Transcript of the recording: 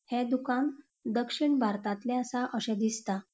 ये दुकान दक्षिण भारतातले आसा अशे दिसता.